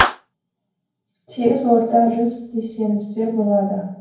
тегіс орта жүз десеңіздер болады